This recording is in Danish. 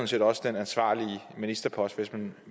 set også den ansvarlige ministerpost hvis man